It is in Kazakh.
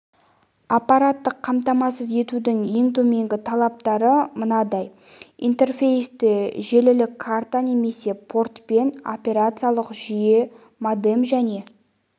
аппараттық қамтамасыз етудің ең төменгі талаптары мынадай интерфейсті желілік карта немесе портпен операциялық жүйе модем және